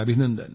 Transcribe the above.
CPT